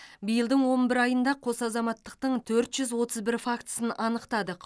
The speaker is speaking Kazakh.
биылдың он бір айында қос азаматтықтың төрт жүз отыз бір фактісін анықтадық